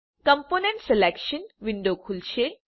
component selection window ખુલશે